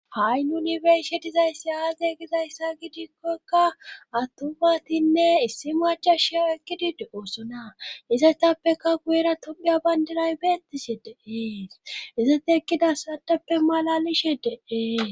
ha7i yunibershe dizayssi aage gizayssa gidikkokka attubatinne issi macha sheo ekkidide oosona izaytappeka guyera topiya bandinay beettise deee izoti ekkida sadappe malalishe deee